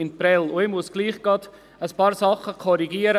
Ich muss trotzdem einiges korrigieren: